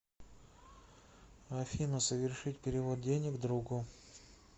афина совершить перевод денег другу